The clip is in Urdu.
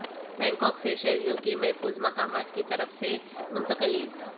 بنکاک سے شہریوں کی محفوظ مقامات کی طرف منتقلی